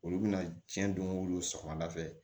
Olu bɛna tiɲɛ don sɔgɔmada fɛ